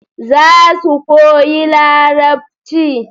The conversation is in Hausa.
Za su koyi larabci